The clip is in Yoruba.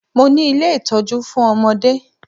Mo ni ilé ìtọ́jú fún ọmọdé